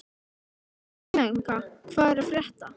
Ermenga, hvað er að frétta?